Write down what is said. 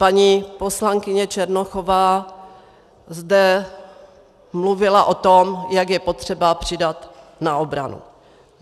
Paní poslankyně Černochová zde mluvila o tom, jak je potřeba přidat na obranu.